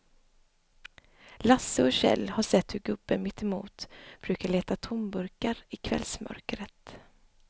Lasse och Kjell har sett hur gubben mittemot brukar leta tomburkar i kvällsmörkret.